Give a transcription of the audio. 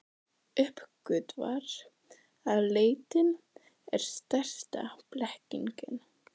Uppgötvar að leitin er stærsta blekkingin.